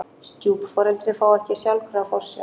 Stjúpforeldri fá ekki sjálfkrafa forsjá